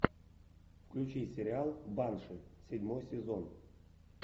включи сериал банши седьмой сезон